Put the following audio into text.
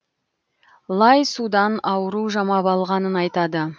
лай судан ауру жамап алғанын айтады